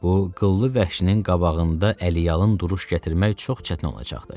Bu qıllı vəhşinin qabağında əyalıın duruş gətirmək çox çətin olacaqdı.